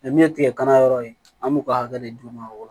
min ye tigɛkala yɔrɔ ye an b'u ka hakɛ de d'u ma o yɔrɔ